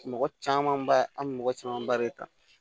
Mɔgɔ caman ba an bɛ mɔgɔ camanba de ta